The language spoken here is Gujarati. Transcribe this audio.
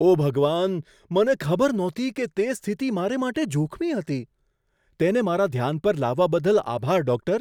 ઓ ભગવાન! મને ખબર નહોતી કે તે સ્થિતિ મારે માટે જોખમી હતી. તેને મારા ધ્યાન પર લાવવા બદલ આભાર, ડૉક્ટર.